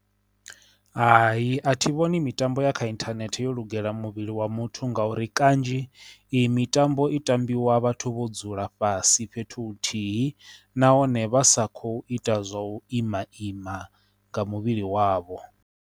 Hai, a thi vhoni mitambo ya kha inthanethe yo lugela muvhili wa muthu nga uri kanzhi i mitambo i tambiwa vhathu vho dzula fhasi fhethu huthihi nahone vhasa kho ita zwa u ima ima nga muvhili wavho.